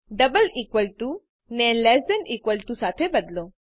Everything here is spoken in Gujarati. ડબલ ઇકવલ ટુ ને લેસ ધેન ઇકવલ ટુ સાથે બદલો